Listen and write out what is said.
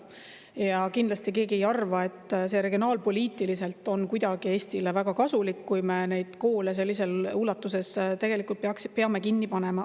Ja kindlasti keegi ei arva, et see regionaalpoliitiliselt on kuidagi Eestile väga kasulik, kui me neid koole sellises ulatuses peame kinni panema.